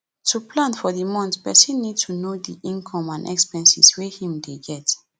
to plan for di month person need to know di income and expenses wey im dey get